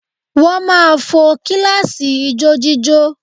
Wọ́n máa fo kíláàsì ijójíjó